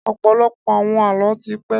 Ọ̀pọ̀lọpọ̀ àwọn Àlọ́ ti pẹ́